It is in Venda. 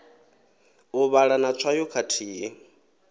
u vhala na tswayo khathihi